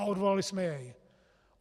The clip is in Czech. A odvolali jsme jej.